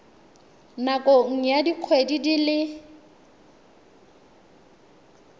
nakong ya dikgwedi di le